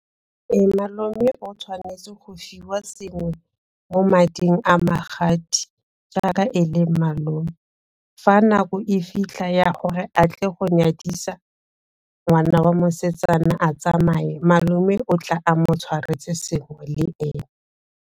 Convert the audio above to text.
Malome o tshwanetse go fiwa sengwe mo mading a magadi jaaka e le malome, fa nako e fitlha ya gore a tle go nyadisa ngwana wa mosetsana a tsamaye, malome o tla a mo tshwaretse sengwe le ene.